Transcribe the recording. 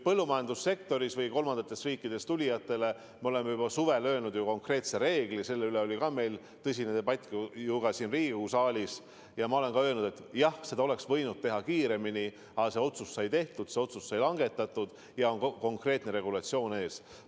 Põllumajandussektorisse kolmandatest riikidest tulijatele me oleme juba suvel öelnud konkreetse reegli – selle üle oli meil ka ju tõsine debatt siin Riigikogu saalis – ja ma olen ka öelnud, et jah, seda oleks võinud teha kiiremini, aga otsus sai tehtud, see otsus sai langetatud ja konkreetne regulatsioon on ees.